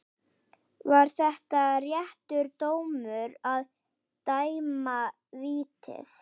Var þetta réttur dómur að dæma vítið?